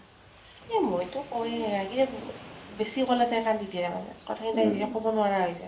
এ মইতো কওয়ে আগেৰ বেছি কলে তাই কান্দি দিয়ে তাৰ মানে। কথা খিনি হেৰি কব নোৱাৰা হৈ যায়।